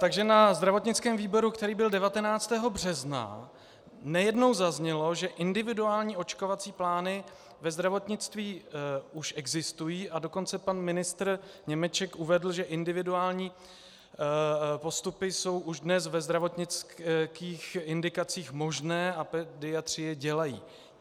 Takže na zdravotnickém výboru, který byl 19. března, nejednou zaznělo, že individuální očkovací plány ve zdravotnictví už existují, a dokonce pan ministr Němeček uvedl, že individuální postupy jsou už dnes ve zdravotnických indikacích možné a pediatři je dělají.